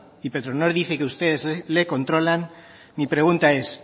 y petronor dice que ustedes le controlan mi pregunta es